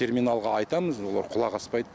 терминалға айтамыз олар құлақ аспайды